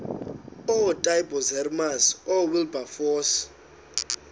ootaaibos hermanus oowilberforce